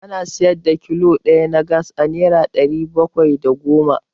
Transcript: Ana siyar da kilo ɗaya na Gas a Naira ɗari bakwai da goma.